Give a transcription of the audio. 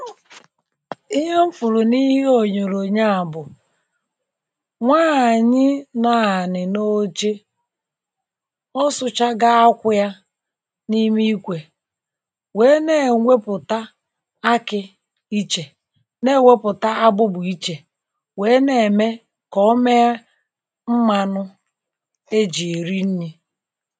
Ihe m fụrụ na ihe onyoronyo a bụ̀ nwaanyị na anị na oche ọ sụchago akwụ yà na ime ikwe wee na-enweputa akị ichè na-eweputa agbụgbụ ichè wee na-eme ka ọ mee mmanụ e ji eri nni